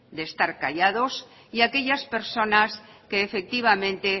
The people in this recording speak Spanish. de estar callados y aquellas personas que efectivamente